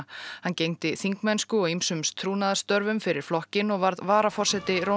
hann gegndi þingmennsku og ýmsum trúnaðarstörfum fyrir flokkinn og varð varaforseti